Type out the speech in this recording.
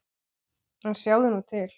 En sjáðu nú til!